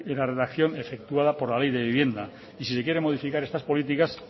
la redacción efectuada por la ley de vivienda y si se quieren modificar estas políticas